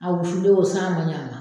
A wusulen don ,san man ɲin a mɔn.